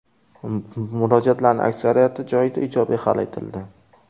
Murojaatlarning aksariyati joyida ijobiy hal etildi.